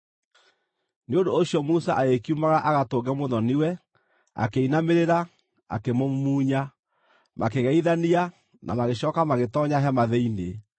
Nĩ ũndũ ũcio Musa agĩkiumagara agatũnge mũthoni-we, akĩinamĩrĩra, akĩmũmumunya. Makĩgeithania, na magĩcooka magĩtoonya hema thĩinĩ.